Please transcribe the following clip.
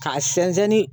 K'a sɛnsɛnni